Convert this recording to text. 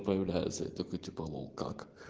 выявляется типа лол как